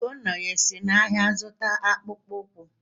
Ugonnaya e si n’ahịa zụta akpụkpọ ụkwụ?